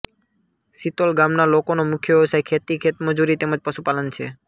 સીતોલ ગામના લોકોનો મુખ્ય વ્યવસાય ખેતી ખેતમજૂરી તેમ જ પશુપાલન છે